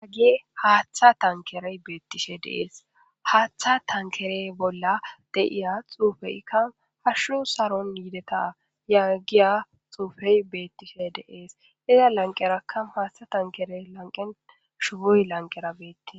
Haggi haaththa tankerey beettishe deees haaththa tankere bolla deiya xuufeika hashu saron yideta yaggiya xuufey beettishe deees iza lanqeraka haaththa tankere lanqen shubuy lanqerabeettie.